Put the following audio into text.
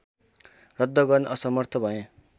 रद्द गर्न असमर्थ भएँ